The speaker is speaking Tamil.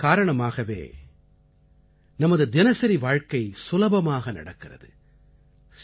இவர்கள் காரணமாகவே நமது தினசரி வாழ்க்கை சுலபமாக நடக்கிறது